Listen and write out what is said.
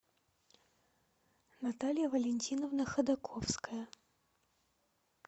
наталья валентиновна ходаковская